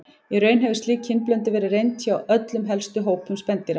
Í raun hefur slík kynblöndun verið reynd hjá öllum helstu hópum spendýra.